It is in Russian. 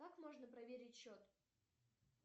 как можно проверить счет